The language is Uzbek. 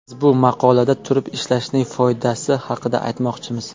Biz bu maqolada turib ishlashning foydasi haqida aytmoqchimiz.